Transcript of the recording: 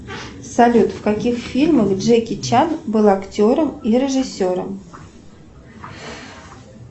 салют в каких фильмах джеки чан был актером и режиссером